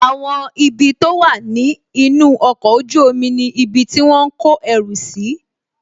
Àwọn ibi tó wà ní inú ọkọ̀ ojú omi ni ibi tí wọ́n ń kọ ẹrù si